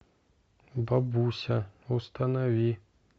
бабуся установи